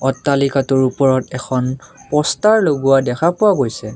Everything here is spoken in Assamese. অট্টালিকাটোৰ ওপৰত এখন প'ষ্টাৰ লগোৱা দেখা পোৱা গৈছে।